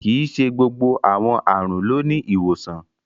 Kíí ṣè gbogbo awọn arùn ló ni ìwosàn.